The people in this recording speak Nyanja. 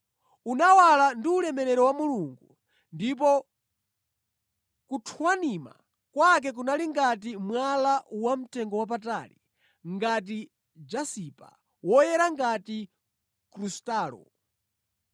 Unawala ndi ulemerero wa Mulungu, ndipo kuthwanima kwake kunali ngati mwala wamtengowapatali, ngati jasipa; woyera ngati krustalo.